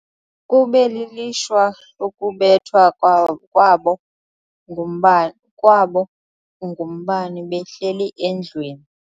Kube lilishwa ukubethwa kwabo ngumbane behleli endlwini.